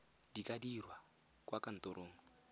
di ka dirwa kwa kantorong